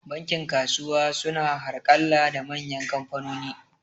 Bankin kasuwa su na harƙalla da manyan kamfanoni